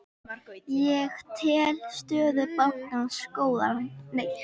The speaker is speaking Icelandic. Ég tel stöðu bankans góða.